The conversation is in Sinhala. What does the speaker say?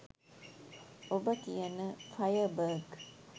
ඔබ කියන ෆයර් බග්